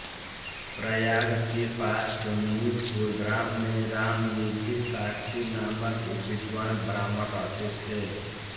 प्रयाग के पास जमुनीपुर ग्राम में रामनिधि शास्त्री नामक एक विद्वान् ब्राह्मण रहते थे